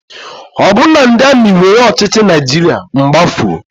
Ọ bụrụ na ndị amị were ọchịchị Naịjirịa, m gbafuo.